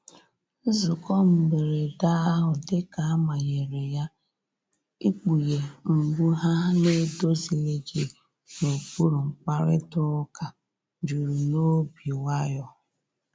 Nzụko mgberede ahụ dika a manyere ya, ịkpughe mgbụ ha na‐edozilighi n'okpuru mkparịta uka juru n'obi nwayo.